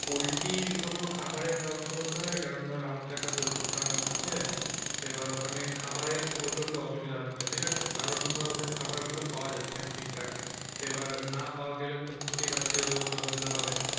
পোল্টির কোন খাবারের ব্যবস্থা করে দিতে পারবি কারণ ধর আমার তো একটা পোল্ট্রির farm আছে তো এবার ওখানে খাবারের প্রচন্ড অসুবিধা হচ্ছে ঠিক আছে কারণ ধর ওদের খাবারগুলো পাওয়া যাচ্ছে না ঠিকঠাক তো এবার না পাওয়া গেলে তো বুঝতেই পাচ্ছিস ওদের কত অসুবিধা হবে